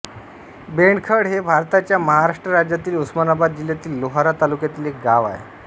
बेंडखळ हे भारताच्या महाराष्ट्र राज्यातील उस्मानाबाद जिल्ह्यातील लोहारा तालुक्यातील एक गाव आहे